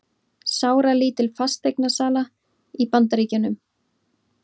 Sáralítil fasteignasala í Bandaríkjunum